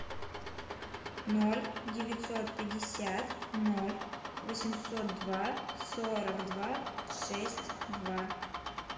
ноль девятьсот пятьдесят ноль восемьсот два сорок два шесть два